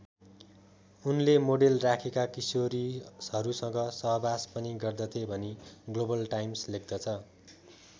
उनले मोडेल राखेका किशोरीहरूसँग सहवास पनि गर्दथे भनी ग्लोबल टाइम्स लेख्दछ।